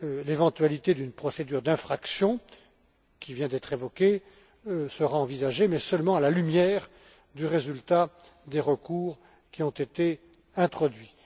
L'éventualité d'une procédure d'infraction, qui vient d'être évoquée, sera envisagée, mais seulement à la lumière du résultat des recours qui ont été introduits.